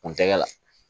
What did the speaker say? Kun tɛgɛ la